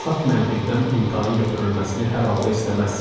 Saf məntiqdən imtahan götürülməsini hər halda istəməzsiz.